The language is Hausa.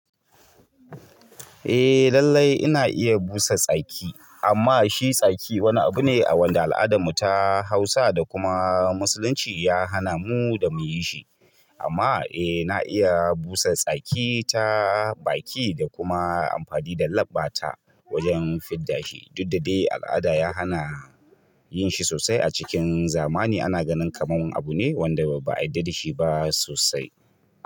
Eh lallai ina iya busa tsaki amma shi tsaki wani abu ne a wanda al'adarmu ta Hausa da kuma Musulunci ya hana mu da muyi shi. Amma eh na iya busa tsaki ta baki da kuma amfani da labba ta wajen fidda shi. Duk da dai al'ada ya hana yin shi sosai a cikin zamani ana ganin kamar abu ne wanda ba a yadda da shi ba sosai.